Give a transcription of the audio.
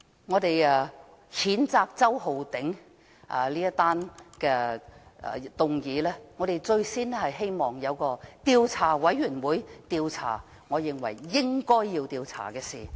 我們譴責周浩鼎議員的議案，我們希望能夠成立調查委員會，調查應該要調查的事。